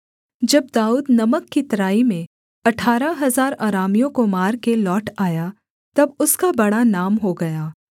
जब दाऊद नमक की तराई में अठारह हजार अरामियों को मारकर लौट आया तब उसका बड़ा नाम हो गया